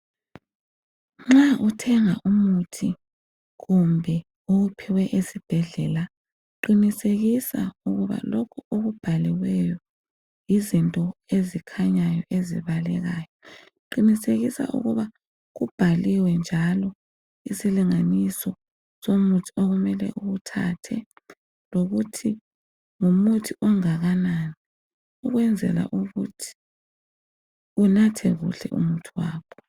Nxa uthenga umuthi kumbe owuphiwe esibhedlela qinisekisa ukuba lokhu okubhaliweyo yizinto ezikhanyayo ezibalekayo, qinisekisa ukuba kubhaliwe njalo isilinganiso somuthi okumele uwuthathe lokuthi ngumuthi ongakanani ukwenzela ukuthi unathe kuhle umuthi wakho.